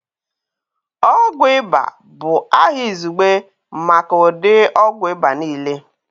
Ọgwụ ịba bụ aha izugbe maka ụdị ogwụ ịba niile